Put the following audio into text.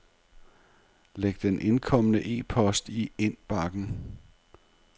Læg den indkomne e-post i indbakken.